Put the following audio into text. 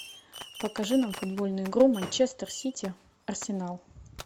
покажи нам футбольную игру манчестер сити арсенал